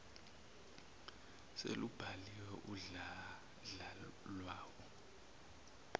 selubhaliwe udladla lwawo